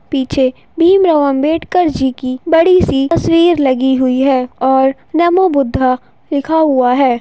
पीछे भीम राव अंबेडकर जी की बड़ी सी तस्वीर लगी हुई है और नमो बुद्धाय लिखा हुआ है।